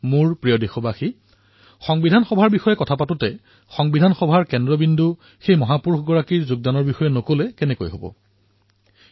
মোৰ মৰমৰ দেশবাসীসকল সংবিধান সভাৰ প্ৰসংগ উত্থাপন হোৱাৰ সময়ত আমি সেইসকল মহাপুৰুষৰ যোগদানৰ কথাও পাহৰিব নোৱাৰো যি সংবিধান সভাৰ কেন্দ্ৰত আছিল